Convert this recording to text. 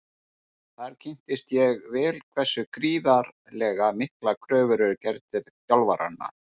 Þar kynntist ég vel hversu gríðarlega miklar kröfur eru gerðar til þjálfaranna.